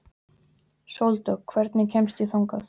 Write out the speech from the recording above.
Sóldögg, hvernig kemst ég þangað?